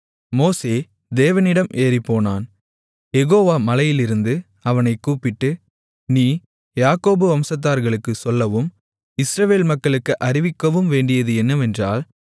மோசே தேவனிடம் ஏறிப்போனான் யெகோவா மலையிலிருந்து அவனைக்கூப்பிட்டு நீ யாக்கோபு வம்சத்தார்களுக்குச் சொல்லவும் இஸ்ரவேல் மக்களுக்கு அறிவிக்கவும் வேண்டியது என்னவென்றால்